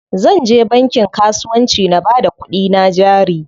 Zanje bankin kasuwanci na bada kuɗina jari.